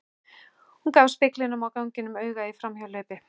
Hún gaf speglinum á ganginum auga í framhjáhlaupi.